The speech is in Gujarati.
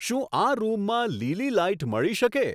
શું આ રૂમમાં લીલી લાઈટ મળી શકે